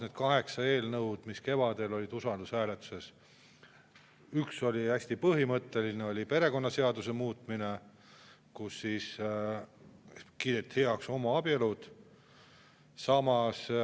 Nendest kaheksast eelnõust, mis kevadel olid usaldushääletusel, üks oli hästi põhimõtteline, see oli perekonnaseaduse muutmine, millega kiideti heaks homoabielud.